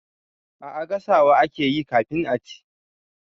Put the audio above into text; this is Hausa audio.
A'a gasawa akeyi kafin a ci.